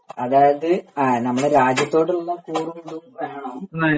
അതായത് നമ്മുടെ രാജ്യത്തോടുള്ള കൂറും ഇതും വേണം